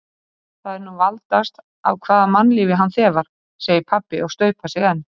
Það er nú valdast af hvaða mannlífi hann þefar, segir pabbi og staupar sig enn.